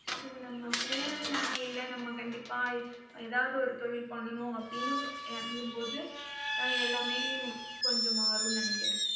so நம்ம full நம்ம இல்லை. நம்ம கண்டிப்பா ஏதாவது ஒரு தொழில் பண்ணணும் அப்படின்னு இறங்கும்போது ஆஹ் எல்லாமே கொஞ்சம் மாறும்னு நினைக்கிறேன்.